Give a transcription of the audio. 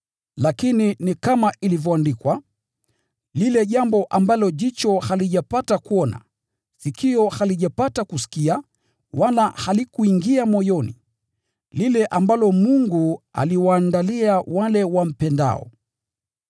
Lakini ni kama ilivyoandikwa: “Hakuna jicho limepata kuona, wala sikio limepata kusikia, wala hayakuingia moyoni wowote, yale Mungu amewaandalia wale wampendao”: